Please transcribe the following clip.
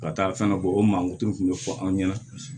Ka taa fɛn dɔ bɔ o mankutu kun bɛ fɔ anw ɲɛna